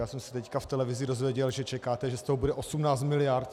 Já jsem se teď v televizi dozvěděl, že čekáte, že z toho bude 18 miliard.